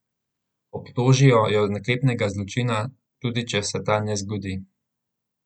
Obtožijo jo naklepnega zločina, tudi če se ta ne zgodi.